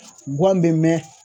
Guwan be mɛn